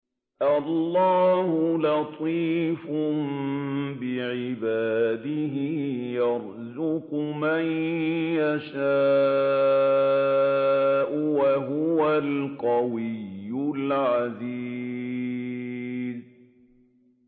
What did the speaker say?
اللَّهُ لَطِيفٌ بِعِبَادِهِ يَرْزُقُ مَن يَشَاءُ ۖ وَهُوَ الْقَوِيُّ الْعَزِيزُ